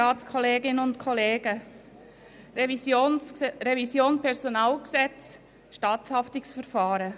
Es geht um die Revision des PG und um das Staatshaftungsverfahren.